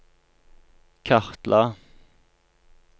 kartla